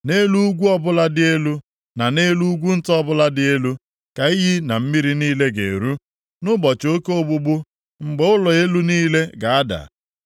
Nʼelu ugwu ọbụla dị elu na nʼelu ugwu nta ọbụla dị elu, ka iyi na mmiri niile ga-eru, nʼụbọchị oke ogbugbu, mgbe ụlọ elu niile ga-ada.